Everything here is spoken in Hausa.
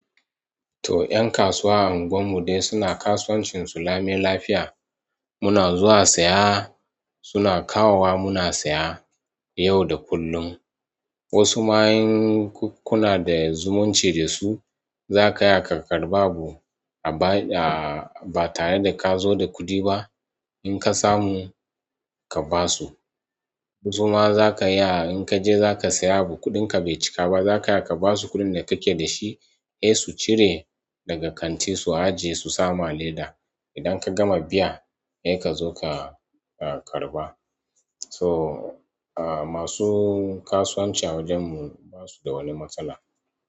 Su 'yan kasuwa a unguwar mu dai suna kasuwancin su lami lafiya. Muna zuwa saya suna kawowa muna saya yau da kullum. Wasu ma in kuna da zumunci da su, za ka iya ka karɓa abu ba tare da ka zo da kuɗi ba. In ka samu ka ba su. Suma za ka iya in ka je za ka siya abu kuɗin ka bai cika ba za ka iya ka basu kuɗin da kake dasu sai su cire daga kanti su aje su sa ma a leda idan ka gama biya, sai ka zo ka karɓa. To, masu kasuwanci a wajen mu basu da wani matsala.